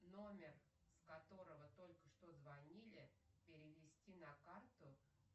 номер с которого только что звонили перевести на карту